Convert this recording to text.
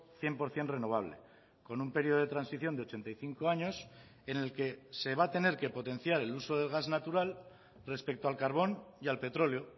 cien por ciento renovable con un periodo de transición de ochenta y cinco años en el que se va a tener que potenciar el uso del gas natural respecto al carbón y al petróleo